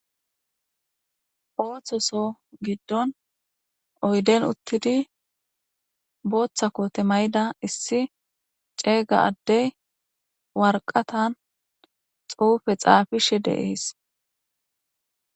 ooththoso giddon oyden uttidi booththa koote mayida issi ceega addey warqatan xuufe xaafishe deees